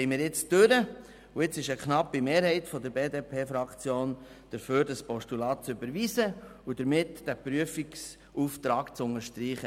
Die Revision ist durchgekommen, und jetzt will eine knappe Mehrheit der BDP-Fraktion dieses Postulat überweisen und damit diesen Prüfungsauftrag unterstreichen.